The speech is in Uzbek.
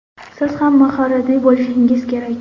Siz ham mahoratli bo‘lishingiz kerak.